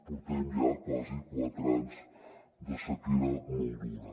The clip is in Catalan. portem ja quasi quatre anys de sequera molt dura